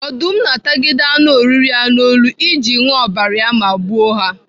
Ọdụm na-atagide anụ oriri ya n'olu iji ṅụo ọbara ya maa gbuo ha.